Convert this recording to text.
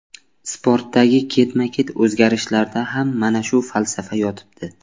Sportdagi ketma-ket o‘zgarishlarda ham mana shu falsafa yotibdi.